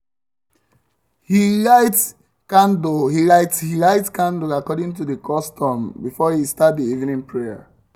um he lite he lite candle according to the custom before e start the evening prayer